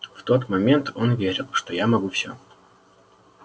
в тот момент он верил что я могу всё